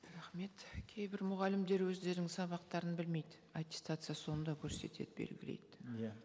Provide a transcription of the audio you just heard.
рахмет кейбір мұғалімдер өздерінің сабақтарын білмейді аттестация соны да көрсетеді белгілейді иә